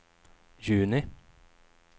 juni